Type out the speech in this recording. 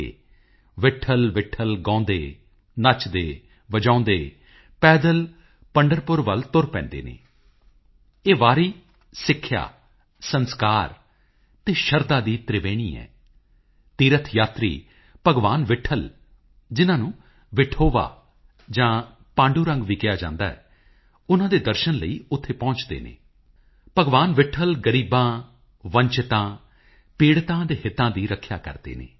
ਗੁਰੂ ਰਵਿਦਾਸ ਜੀ ਦਾ ਜਨਮ ਵਾਰਾਣਸੀ ਦੀ ਪਵਿੱਤਰ ਭੂਮੀ ਤੇ ਹੋਇਆ ਸੀ ਸੰਤ ਰਵਿਦਾਸ ਜੀ ਨੇ ਆਪਣੇ ਸੰਦੇਸ਼ਾਂ ਦੇ ਮਾਧਿਅਮ ਨਾਲ ਆਪਣੇ ਪੂਰੇ ਜੀਵਨ ਕਾਲ ਵਿੱਚ ਮਿਹਨਤ ਅਤੇ ਮਿਹਨਤੀ ਦੀ ਅਹਿਮੀਅਤ ਨੂੰ ਸਮਝਾਉਣ ਦਾ ਯਤਨ ਕੀਤਾ ਜੇਕਰ ਇਹ ਕਿਹਾ ਜਾਵੇ ਤਾਂ ਗਲਤ ਨਹੀਂ ਹੋਵੇਗਾ ਕਿ ਉਨ੍ਹਾਂ ਨੇ ਦੁਨੀਆ ਨੂੰ ਮਿਹਨਤ ਦੀ ਪ੍ਰਤਿਸ਼ਠਾ ਦਾ ਅਸਲ ਅਰਥ ਸਮਝਾਇਆ ਉਹ ਕਹਿੰਦੇ ਸਨ